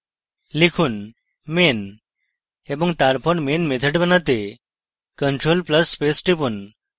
লিখুন main এবং তারপর main method বানাতে ctrl + space টিপুন